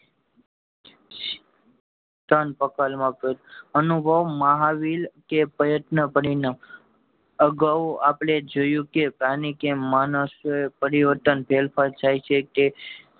ત્રણ પ્રકાર અનુભવ, મહાવિલ કે પ્રયત્ન કરી ને અગાવ આપડે જોયું કે પ્રાણી કે માણસ પરિવર્તન પર જાય છે તે